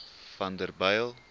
vanderbijl